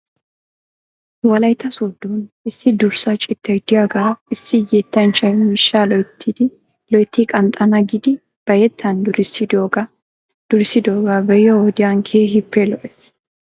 Wolaytta soodon issi durasaa citay de'iyaagaa issi yettanchchay miishshaa loytti qanxxana giidi ba yettan durissidoogaa be'iyoo wodiyan keehippe lo'ees .